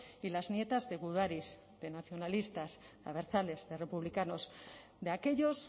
y las nietas de gudaris de nacionalistas de abertzales de republicanos de aquellos